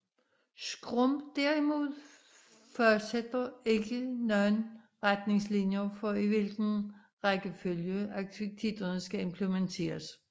Scrum derimod fastsætter ikke nogen retningslinjer for i hvilken rækkefølge aktiviteterne skal implementeres